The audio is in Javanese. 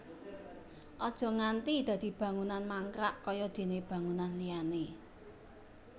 Aja nganti dadi bangunan mangkrak kaya déné bangunan liyané